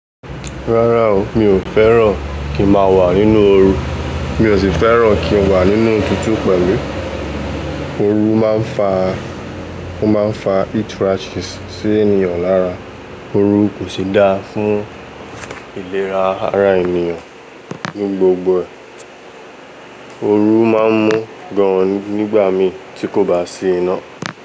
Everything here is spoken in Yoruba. Rárá o, mi ò fẹ́ràn kí n máa wà nínú oru. Mi ò sì fẹ́ràn kí n wà nínú òtútù pẹ̀lú. Oru máa ń fa, o máa ń fa itch rashes sí ènìyàn lára. Oru kò sì dáa fún ìlera ara ènìyàn ní gbogbo ẹ̀. Oru má a ń mú gan-an nígbà mi tí kò bá sì iná.